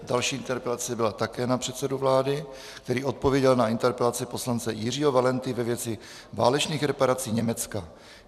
Další interpelace byla také na předsedu vlády, který odpověděl na interpelaci poslance Jiřího Valenty ve věci válečných reparací Německa.